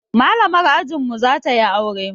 Malamar ajin mu za ta yi aure